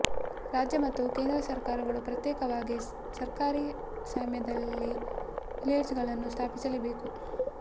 ರಾಜ್ಯ ಮತ್ತು ಕೇಂದ್ರ ಸರ್ಕಾರಗಳು ಪ್ರತ್ಯೇಕವಾಗಿ ಸರ್ಕಾರಿ ಸ್ವಾಮ್ಯದಲ್ಲಿ ಫಿಲೇಚರ್ಗಳನ್ನು ಸ್ಥಾಪಿಸಬೇಕು